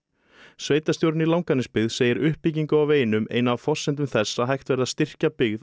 sveitarstjórinn í Langanesbyggð segir uppbyggingu á veginum eina af forsendum þess að hægt verði að styrkja byggð á